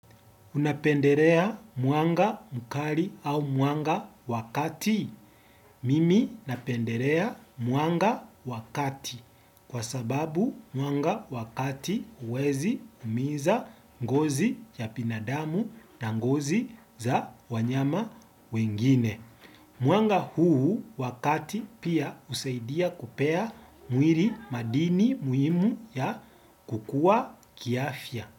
Unapendelea mwanga mkali au mwanga wakati? Mimi napendelea mwanga wakati kwa sababu mwanga wakati huwezi umiza ngozi ya binadamu na ngozi za wanyama wengine. Mwanga huu wakati pia husaidia kupea mwili madini muhimu ya kukua kiafya.